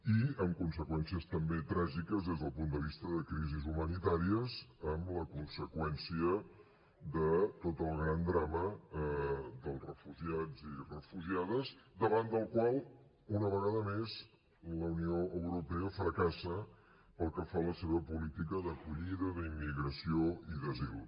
i amb conseqüències també tràgiques des del punt de vista de crisis humanitàries amb la conseqüència de tot el gran drama dels refugiats i refugiades davant del qual una vegada més la unió europea fracassa pel que fa a la seva política d’acollida d’immigració i d’asil